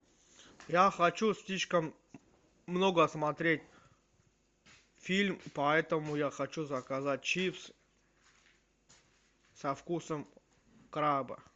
я хочу слишком много смотреть фильм поэтому я хочу заказать чипсы со вкусом краба